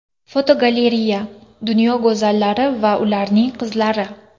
Fotogalereya: Dunyo go‘zallari va ularning qizlari.